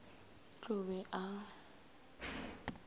t t o be a